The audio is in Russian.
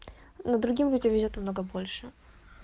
но другим людям везёт намного больше